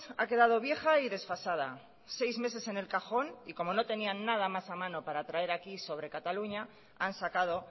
ha quedado vieja y desfasada seis meses en el cajón y como no tenían nada más a mano para traer aquí sobre cataluña han sacado